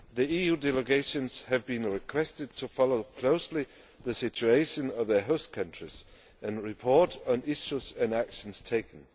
EU delegations have been requested to follow closely the situation of their host countries and report on issues and actions taken.